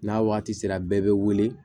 N'a wagati sera bɛɛ bɛ wele